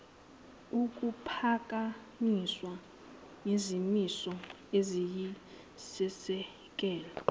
kuphakanyiswe izimiso eziyisisekelo